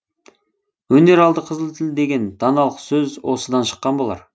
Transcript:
өнер алды қызыл тіл деген даналық сөз осыдан шыққан болар